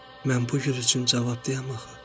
Mən bu gül üçün cavabdeyəm axı."